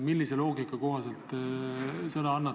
Millise loogika kohaselt te sõna annate?